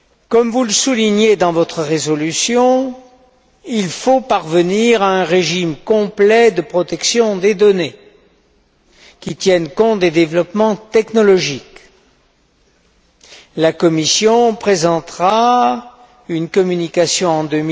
Comme vous le soulignez dans votre résolution, il faut parvenir à un régime complet de protection des données, qui tienne compte des développements technologiques. La Commission présentera une communication à ce sujet en